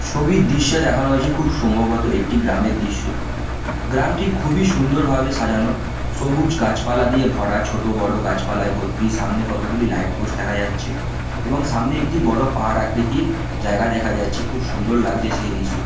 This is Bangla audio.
ছবির দৃশ্যে দেখানো হয়েছে খুব সম্ভবত একটি গ্রামের দৃশ্য গ্রামটি খুবই সুন্দরভাবে সাজানো সবুজ গাছপালা দিয়ে ভরা ছোটোবড়ো গাছপালায় ভর্তি সামনে কতগুলি লাইটপোস্ট দেখা যাচ্ছে এবং সামনে একটি বড়ো পাহাড় আকৃতির জায়গা দেখা যাচ্ছে খুব সুন্দর লাগছে সেই দৃশ্য--